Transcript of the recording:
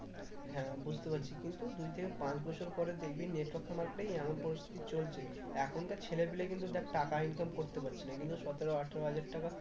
হ্যাঁ বুঝতে পারছি কিন্তু দুই থেকে পাঁচ বছর পরে দেখবি network market এই এমন পরিস্থিতি চলছে, এখনকার ছেলে পিলেই কিন্তু দেখ টাকা income করতে পারছে না কিন্তু সতেরো আঠেরো হাজার টাকা